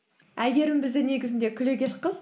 әйгерім бізде негізінде күлегеш қыз